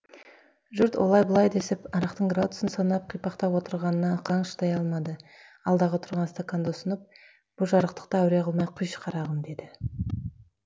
жұрт олай бұлай десіп арақтың градусын санап қипақтап отырғанына ықаң шыдай алмады алдында тұрған стақанды ұсынып бұ жарықтықты әуре қылмай құйшы қарағым деді